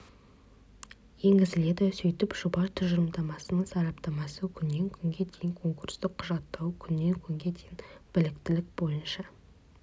енгізіледі сөйтіп жоба тұжырымдамасының сараптамасы күннен күнге дейін конкурстық құжаттау күннен күнге дейін біліктілік бойынша